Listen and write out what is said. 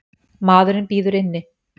Maðurinn bíður inni.